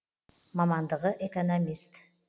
мамандығы экономист